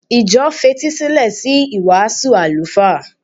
Ìjọ fetísílẹ̀ sí ìwàásù àlùfáà.